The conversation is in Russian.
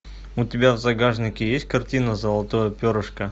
у тебя в загашнике есть картина золотое перышко